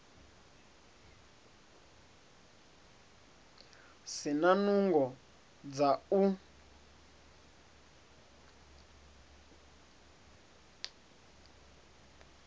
si na nungo dza u